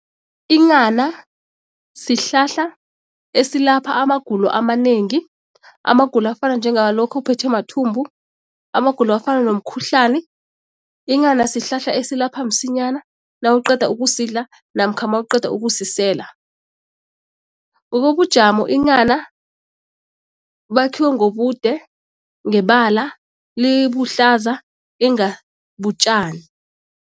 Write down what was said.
Inghana sihlahla esilapha amagulo amanengi. Amagulo afana njengalokha uphethwe mathumbu, amagulo afana nomkhuhlani. Inghana sihlahla esilapha msinyana nawuqeda ukusidla namkha nawuqeda ukusisela. Ngokobujamo inghana lakhiwe ngobude, ngebala libuhlaza inga butjani.